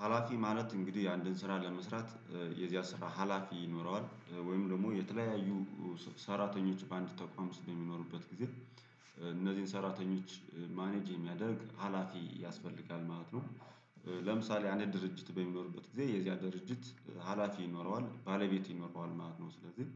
ሀላፊ ማለት እንግዲህ አንድን ስራ ለመስራት የዚያ ስራ ሀላፊ ይኖረዋል ወይም ደግሞ የተለያዩ ሰራተኞች በአንድ ተቋም ውስጥ በሚኖርበት ጊዜ እነዚህን ሰራተኞች ማኔጅ የሚያደርግ ሀላፊ ያስፈልጋል ማለት ነው። ለምሳሌ አንድ ድርጅት በሚኖርበት ጊዜ የዚያ ድርጅት ሀላፊ ይኖረዋል ባለቤት ይኖረዋል ማለት ነው። ስለዚህ